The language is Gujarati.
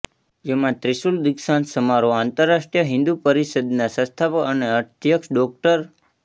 જેમાં ત્રિશુલ દીક્ષાંત સમારોહ આંતરરાષ્ટ્રીય હિંદુ પરિષદના સંસ્થાપક અને અધ્યક્ષ ડો